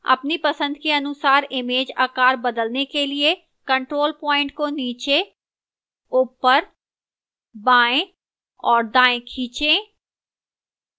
अपनी पसंद के अनुसार image आकार बदलने के लिए control point को नीचे ऊपर बाएं या दाएं खींचें